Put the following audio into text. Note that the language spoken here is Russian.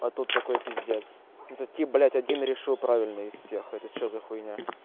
а тут такой пиздец этот тип блядь один решил правильно из всех это что за хуйня